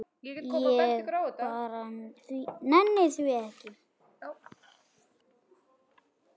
Ég bara nenni því ekki.